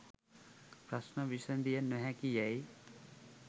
ප්‍රශ්න විසඳිය නොහැකි යැයි